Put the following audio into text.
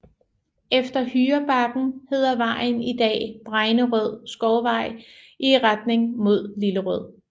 Efter Hyrebakken hedder vejen i dag Bregnerød Skovvej i retning mod Lillerød